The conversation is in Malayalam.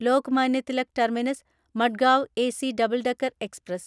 Lokmanya Tilak terminus Madgaon AC double decker express